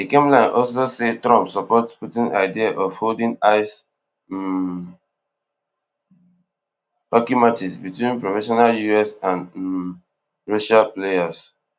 di kremlin also say trump support putin idea of holding ice um hockey matches between professional us and um russian players